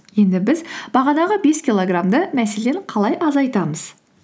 енді біз бағанағы бес килограммды мәселен қалай азайтамыз